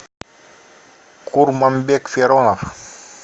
курманбек феронов